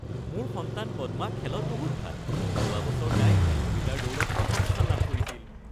মোৰ সন্তান পদ্মা খেলত বহুত ভাল। যোৱা বছৰ তাই ১০০ মিটাৰ দৌৰত প্ৰথম স্থান লাভ কৰিছিল।